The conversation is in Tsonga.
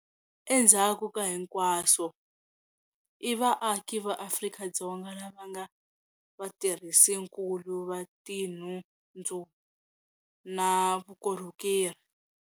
Endzhaku ka hinkwaswo, i vaaki va Afrika-Dzonga lava va nga vatirhisinkulu va tinhundzu na vukorhokeri.